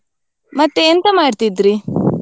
ಮತ್ತೆ ಎಂತ ಮಾಡ್ತಿದ್ರಿ?